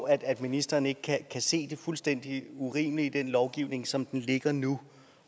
at ministeren ikke kan se det fuldstændig urimelige i den lovgivning som den ligger nu